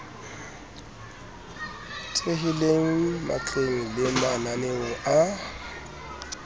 thehileng matleng le mananeong a